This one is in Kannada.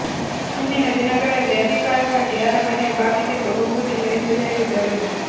ಮುಂದಿನ ದಿನಗಳಲ್ಲಿ ಅಧಿಕಾರಕ್ಕಾಗಿ ಯಾರ ಮನೆಯ ಬಾಗಿಲಿಗೂ ಹೋಗುವುದಿಲ್ಲ ಎಂದು ಹೇಳಿದರು